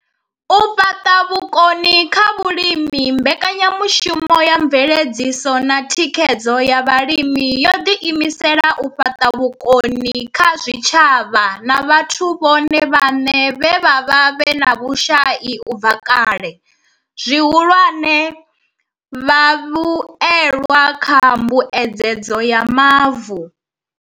U fhaṱa vhukoni kha vhalimi Mbekanya mushumo ya Mveledziso na Thikhedzo ya Vhalimi yo ḓiimisela u fhaṱa vhukoni kha zwitshavha na vhathu vhone vhaṋe vhe vha vha vhe na vhushai u bva kale, zwihulwane, vhavhuelwa kha Mbuedzedzo ya Mavu.